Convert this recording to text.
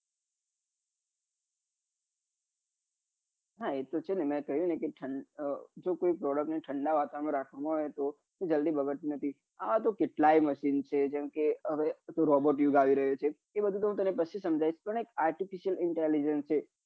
હા એ તો છે ને મેં કહ્યું કે જો કોઈ product ને ઠંડા વાતાવરણ માં રાખવા માં આવે તો જલ્દી બગડતું નથી આવવા તો કેટલાય machine છે જેમ કે આ તો robot યુગ આવી રહ્યો છે આ બધું તો હું તમને પછી સમાંજાવીસ પણ એક artificial intelligence છે.